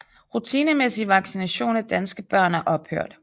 Rutinemæssig vaccination af danske børn er ophørt